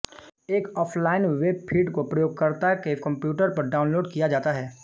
एक offline web feed को प्रयोगकर्ता के कंप्यूटर पर डाउनलोड किया जाता है